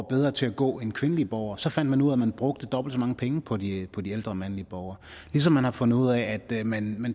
bedre til at gå end kvindelige borgere og så fandt man ud af at man brugte dobbelt så mange penge på de på de ældre mandlige borgere ligesom man har fundet ud af at man